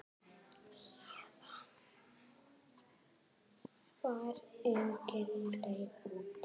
Héðan var engin leið út.